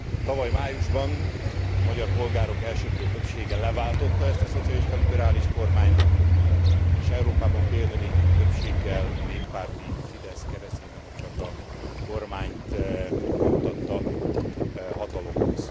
Tavaly májusban a magyar polgárok elsöprő többsége leváltotta ezt a szocialista liberális kormányt és Európában példa nélküli többséggel a Fidesz Kereszténydemokrata kormányt jutatta hatalomhoz.